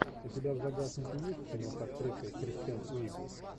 у тебя в загашнике есть кино с актрисой кристен уиг